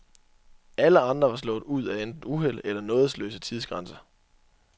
Alle andre var slået ud af enten uheld eller nådesløse tidsgrænser.